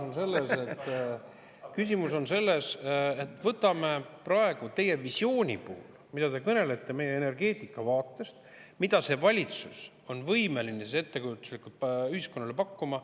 Küsimus on selles, et võtame praegu teie visiooni puhul, mida te meile energeetika vaatest, mida see valitsus on võimeline ettekujutuslikult ühiskonnale pakkuma.